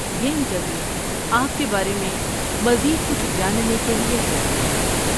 یہ انٹرویو آپ کے بارے میں مزید کچھ جاننے کے لیے کیا جاتا ہے۔